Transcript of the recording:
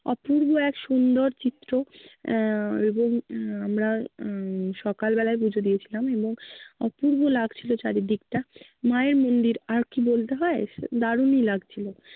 অপূর্ব এক সুন্দর চিত্র আহ এবং আহ আমরা উম সকাল বেলায় পূজো দিয়েছিলাম এবং অপূর্ব লাগছিল চারিদিকটা। মায়ের মন্দির আর কী বলতে হয়! দারুণই লাগছিলো।